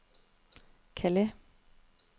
Calais